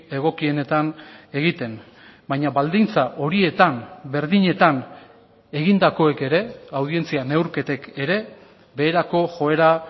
egokienetan egiten baina baldintza horietan berdinetan egindakoek ere audientzia neurketek ere beherako joera